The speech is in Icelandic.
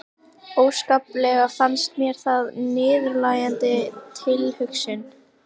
Óskaplega fannst mér það niðurlægjandi tilhugsun.